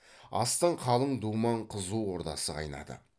астың қалың думан қызу ордасы қайнады